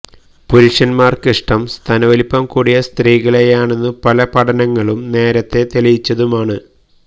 പുരുഷന്മാർക്കിഷ്ടം സ്തനവലുപ്പം കൂടിയ സ്ത്രീകളെയാണെന്നു പല പഠനങ്ങളും നേരത്തെ തെളിയിച്ചതുമാണ്